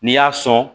N'i y'a sɔn